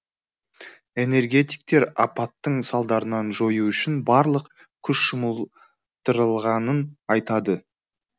энергетиктер апаттың салдарын жою үшін барлық күш жұмылдырылғанын айтады